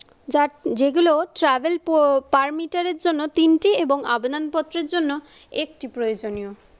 যার যেগুলো travel parmiter এর জন্য তিনটি এবং আবেদনপত্রের জন্য একটি প্রয়োজনীয়।